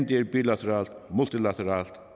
det er bilateralt multilateralt